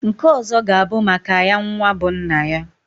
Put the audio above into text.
Nke ọzọ g'a bụ maka ya nwa bụ nna ya.